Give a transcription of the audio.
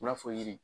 U b'a fɔ yiri